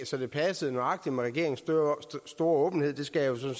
så det passer nøjagtig med regeringens store åbenhed skal jeg jo